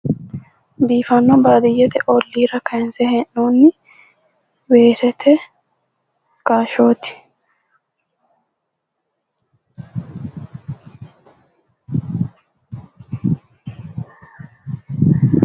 Biifanno baadiyyete olliira kayinse hee'noonni weesete kaashshooti.